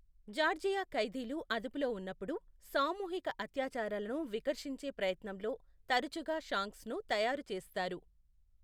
Georgia ఖైదీలు అదుపులో ఉన్నప్పుడు, సామూహిక అత్యాచారాలను వికర్షించే ప్రయత్నంలో తరచుగా షాంక్స్ను తయారు చేస్తారు.